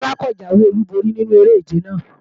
Rárá, kò jáwé olúborí nínu eré-ìje náà